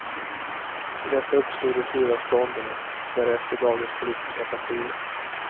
Ur detta uppstod de fyra stånden och därefter dagens politiska partier.